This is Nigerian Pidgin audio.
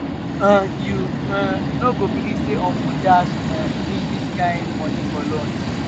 um you um no go believe say uncle dash um me dis kin money for lunch.